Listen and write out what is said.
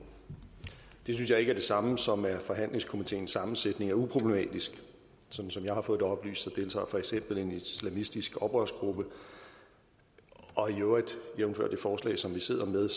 det synes jeg ikke er det samme som at mene at forhandlingskomiteens sammensætning er uproblematisk sådan som jeg har fået det oplyst deltager der for eksempel en islamistisk oprørsgruppe og i øvrigt jævnfør det forslag som vi sidder med